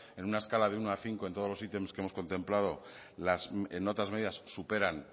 en una escala del uno al cinco en todos los sitios que hemos contemplado en otras medidas superan